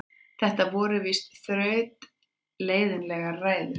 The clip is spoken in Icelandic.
Þetta voru víst þrautleiðinlegar ræður.